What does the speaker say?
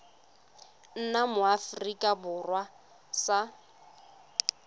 nna mo aforika borwa sa